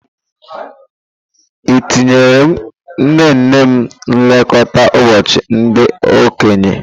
Etinyere nnenne m nlekọta ụbọchị ndị okenye.